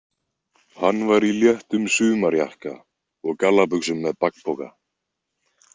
Hann var í léttum sumarjakka og gallabuxum með bakpoka.